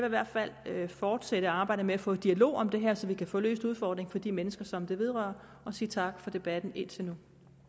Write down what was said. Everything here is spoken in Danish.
i hvert fald fortsætte arbejdet med at få dialog om det her så vi kan få løst udfordringen for de mennesker som det vedrører og sige tak for debatten indtil